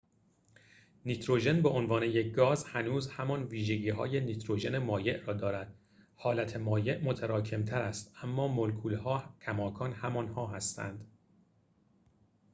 نیتروژن به عنوان یک گاز هنوز همان ویژگی های نیتروژن مایع را دارد حالت مایع متراکم تر است اما مولکول ها کماکان همان‌ها هستند